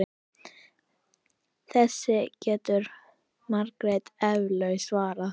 Þessu getur Margrét eflaust svarað.